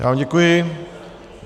Já vám děkuji.